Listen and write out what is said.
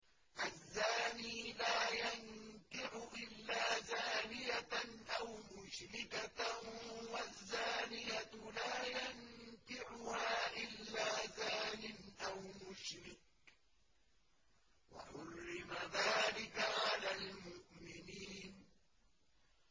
الزَّانِي لَا يَنكِحُ إِلَّا زَانِيَةً أَوْ مُشْرِكَةً وَالزَّانِيَةُ لَا يَنكِحُهَا إِلَّا زَانٍ أَوْ مُشْرِكٌ ۚ وَحُرِّمَ ذَٰلِكَ عَلَى الْمُؤْمِنِينَ